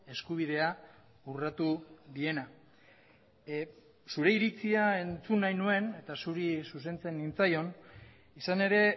eskubidea urratu diena zure iritzia entzun nahi nuen eta zuri zuzentzen nintzaion izan ere